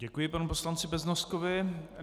Děkuji panu poslanci Beznoskovi.